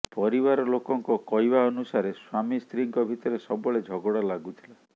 ପରିବାର ଲୋକଙ୍କ କହିବା ଅନୁସାରେ ସ୍ୱାମୀ ସ୍ତ୍ରୀଙ୍କ ଭିତରେ ସବୁବେଳେ ଝଗଡ଼ା ଲାଗୁଥିଲା